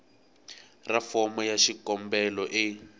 ra fomo ya xikombelo e